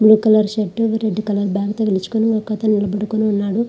Blue colour shirt red colour bag తగిలించుకొని ఒక అతను నిలబడుకొనున్నాడు.